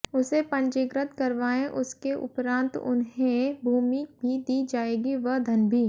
उसे पंजीकृत करवाएं उसके उपरांत उन्हें भूमि भी दी जाएगी व धन भी